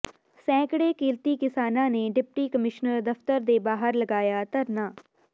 ਸੈਂਕੜੇ ਕਿਰਤੀ ਕਿਸਾਨਾਂ ਨੇ ਡਿਪਟੀ ਕਮਿਸ਼ਨਰ ਦਫਤਰ ਦੇ ਬਾਹਰ ਲਗਾਇਆ ਧਰਨਾ